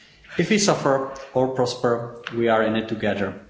If we suffer or prosper, we are in it together.